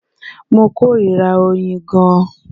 Mo kórìíra oyin gan-an